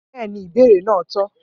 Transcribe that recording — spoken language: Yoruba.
Bẹ́ẹ̀ ni, ìbéèrè náà tọ́